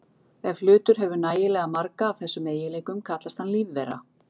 Ef hlutur hefur nægilega marga af þessum eiginleikum kallast hann lífvera.